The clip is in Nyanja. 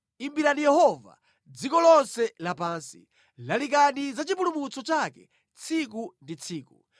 Imbirani Yehova, dziko lonse lapansi; lalikani za chipulumutso chake tsiku ndi tsiku.